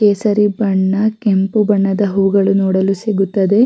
ಕೇಸರಿ ಬಣ್ಣ ಕೆಂಪು ಬಣ್ಣದ ಹೂಗಳು ನೋಡಲು ಸಿಗುತ್ತದೆ .